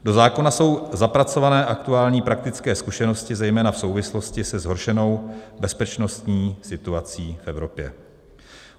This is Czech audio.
Do zákona jsou zapracované aktuální praktické zkušenosti zejména v souvislosti se zhoršenou bezpečnostní situací v Evropě.